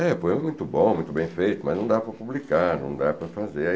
É, poema muito bom, muito bem feito, mas não dá para publicar, não dá para fazer.